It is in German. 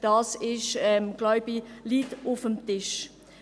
dies liegt, glaube ich, auf dem Tisch.